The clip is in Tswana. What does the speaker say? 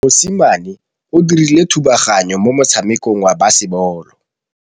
Mosimane o dirile thubaganyô mo motshamekong wa basebôlô.